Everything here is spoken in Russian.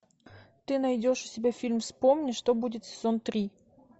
ты найдешь у себя фильм вспомни что будет сезон три